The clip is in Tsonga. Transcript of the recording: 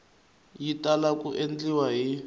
yi tala ku endliwa hi